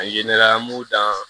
A ye ne lamunu da